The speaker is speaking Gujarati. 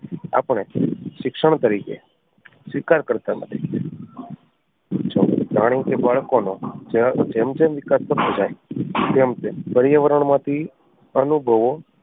આપણે શિક્ષણ તરીકે સ્વીકાર કરતાં નથી પ્રાણી કે બાળકો નો જેમ જેમ વિકાસ થતો જાય તેમ તેમ પર્યાવરણ માંથી અનુભવો